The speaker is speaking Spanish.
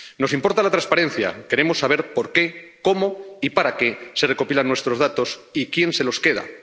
Nos importa la transparencia, queremos saber por qué, cómo y para qué se recopilan nuestros datos y quién se los queda.